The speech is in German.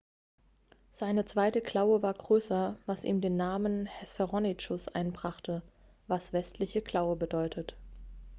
seine zweite klaue war größer was ihm den namen hesperonychus einbrachte was westliche klaue bedeutet